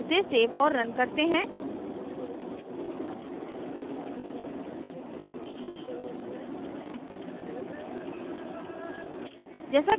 इसे सेव और रन करते हैं